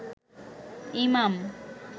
ইমাম